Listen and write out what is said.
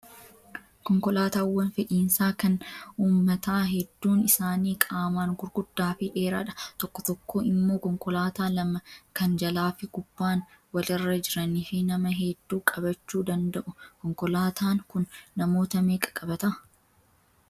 Konkolaataawwan fe'iisaa kan uummataa hedduun isaanii qaamaan gurguddaa fi dheeraadha. Tokko tokko immoo konkolaataa lama kan jalaa fi gubbaan walirra jiranii fi nama hedduu qabachuu danda'u. Konkolaataan kun namoota meeqa qabataa?